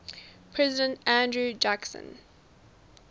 president andrew jackson